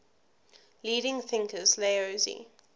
leading thinkers laozi